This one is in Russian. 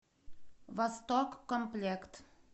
восток комплект